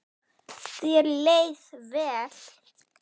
Þér leið vel.